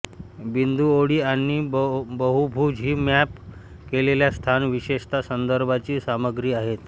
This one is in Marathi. बिंदू ओळी आणि बहुभुज ही मॅप केलेल्या स्थान विशेषता संदर्भांची सामग्री आहेत